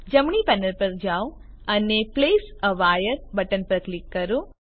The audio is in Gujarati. જમણી પેનલ પર જાઓ અને પ્લેસ એ વાયર બટન પર ક્લિક કરો